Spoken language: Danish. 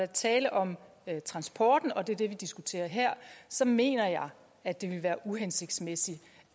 tale om transporten og det er det vi diskuterer her så mener jeg at det vil være uhensigtsmæssigt